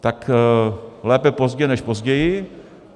Tak lépe pozdě než později.